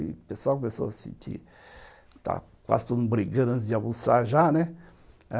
E o pessoal começou a sentir... está quase todo mundo brigando antes de almoçar já, né?